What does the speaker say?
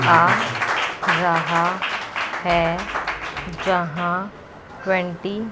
आ रहा है जहां ट्वेंटी --